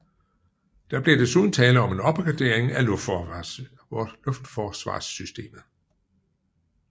Der bliver desuden tale om en opgradering af luftforsvarssystemet